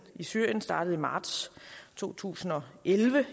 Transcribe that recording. i syrien startede i marts to tusind og elleve